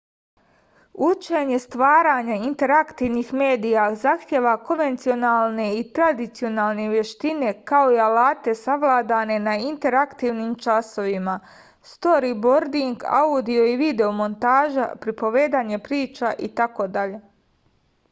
учење стварања интерактивних медија захтева конвенционалне и традиционалне вештине као и алате савладане на интерактивним часовима сторибординг аудио и видео монтажа приповедање прича итд.